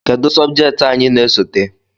Kedu sobjekti anyị na-esote?